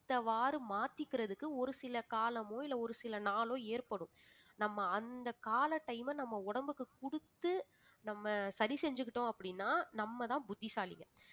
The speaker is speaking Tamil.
ஏத்தவாறு மாத்திக்கிறதுக்கு ஒரு சில காலமோ இல்லை ஒரு சில நாளோ ஏற்படும் நம்ம நம்ம அந்த கால டைம நம்ம உடம்புக்கு குடுத்து நம்ம சரி செஞ்சுகிட்டோம் அப்படினா நம்ம தான் புத்திசாலிங்க